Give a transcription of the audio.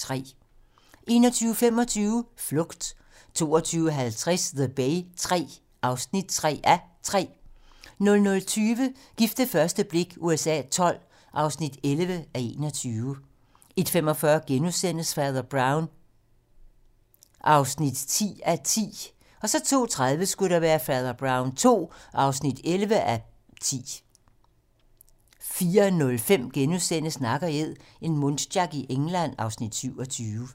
21:25: Flugt 22:50: The Bay III (3:3) 00:20: Gift ved første blik USA XII (11:21) 01:45: Fader Brown (10:10)* 02:30: Fader Brown II (11:10) 04:05: Nak & Æd - en muntjac i England (Afs. 27)*